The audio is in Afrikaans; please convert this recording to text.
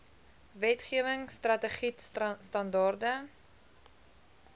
wetgewing strategied standaarde